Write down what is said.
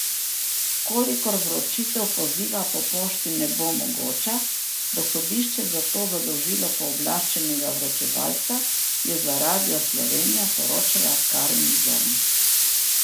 V kolikor vročitev poziva po pošti ne bo mogoča, bo sodišče za to zadolžilo pooblaščenega vročevalca, je za Radio Slovenija poročala Karin Zorn.